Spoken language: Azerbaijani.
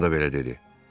Arvadım da belə dedi.